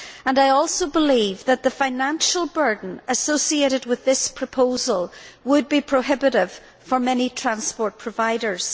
I also believe that the financial burden associated with this proposal would be prohibitive for many transport providers.